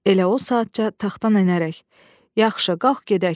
Elə o saatca taxtdan enərək: "Yaxşı, qalx gedək.